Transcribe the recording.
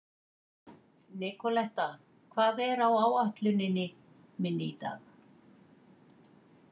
Nikoletta, hvað er á áætluninni minni í dag?